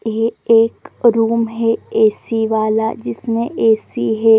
ये एक रूम है ऐ_सी वाला जिसमे ऐ_सी है ।